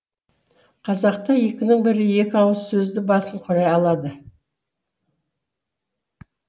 қазақта екінің бірі екі ауыз сөздің басын құрай алады